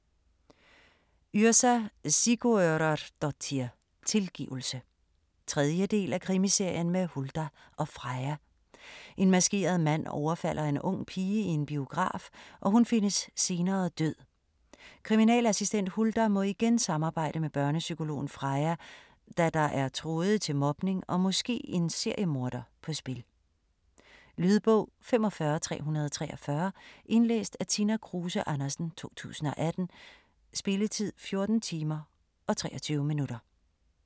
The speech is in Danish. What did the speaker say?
Yrsa Sigurðardóttir: Tilgivelse 3. del af Krimiserien med Huldar og Freyja. En maskeret mand overfalder en ung pige i en biograf, og hun findes senere død. Kriminalassistent Huldar må igen samarbejde med børnepsykologen Freya, da der er tråde til mobning og måske en seriemorder på spil. Lydbog 45343 Indlæst af Tina Kruse Andersen, 2018. Spilletid: 14 timer, 23 minutter.